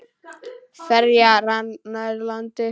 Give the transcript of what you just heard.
Ferjan rann nær landi.